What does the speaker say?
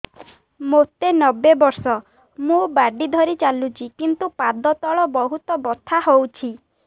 ମୋତେ ନବେ ବର୍ଷ ମୁ ବାଡ଼ି ଧରି ଚାଲୁଚି କିନ୍ତୁ ପାଦ ତଳ ବହୁତ ବଥା ହଉଛି